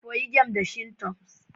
Koyi game da Shintoism